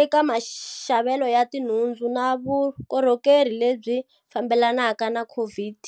eka maxavelo ya tinhundzu na vukorhokeri lebyi fambelanaka na COVID.